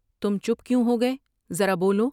تم چپ کیوں ہو گئے ، ذرا بولو ۔